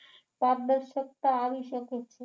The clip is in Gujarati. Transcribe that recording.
પારદર્શકતા આવી શકે છે